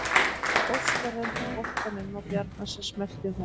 Óskar renndi boltanum á Bjarna sem smellti honum.